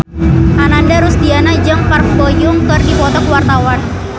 Ananda Rusdiana jeung Park Bo Yung keur dipoto ku wartawan